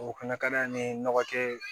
O fɛnɛ ka d'an ye ni nɔgɔ tɛ ye